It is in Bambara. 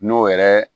N'o yɛrɛ